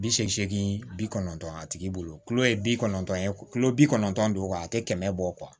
Bi seegin bi kɔnɔntɔn a tigi bolo kulo ye bi kɔnɔntɔn ye kulo bi kɔnɔntɔn do kuwa a tɛ kɛmɛ bɔ